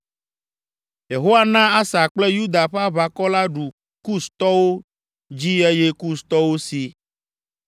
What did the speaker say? Yehowa na Asa kple Yuda ƒe aʋakɔ la ɖu Kustɔwo dzi eye Kustɔwo si.